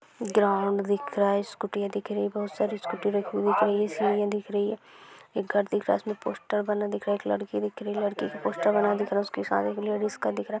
Ground दिख रहा है स्कूटीया दिख रही बहुत सारी स्कूटी रखी हुई पड़ी है सीढ़िया दिख रही है एक घर दिख रहा है उसमे पोस्टर बना दिख रहा एक लड़की दिख रही है लड़की की पोस्टर बना हुआ हुआ दिख रहा है। उसका साड़ी कलर ऑरेंज दिख रा है।